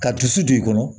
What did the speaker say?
Ka dusu don i kɔnɔ